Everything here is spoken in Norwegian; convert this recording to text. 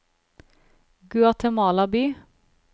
Guatemala by